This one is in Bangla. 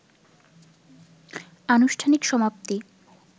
আনুষ্ঠানিক সমাপ্তি